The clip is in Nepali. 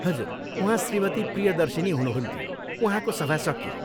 हजुर, उहाँ श्रीमती प्रियदर्शिनी हुनुहुन्थ्यो, उहाँको सभा सकियो।